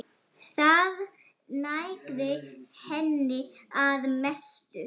Það nægði henni að mestu.